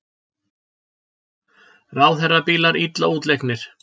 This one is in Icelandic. Ráðherrabílar illa útleiknir